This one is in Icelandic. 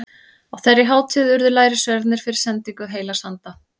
Á þeirri hátíð urðu lærisveinarnir fyrir sendingu heilags anda.